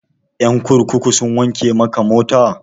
Ƴan kurkuku sun wanke maka mota?